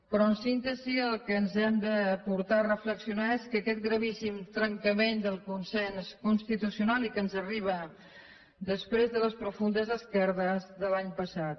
però en síntesi el que ens ha de portar a reflexionar és aquest gravíssim trencament del consens constitucional i que ens arriba després de les profundes esquerdes de l’any passat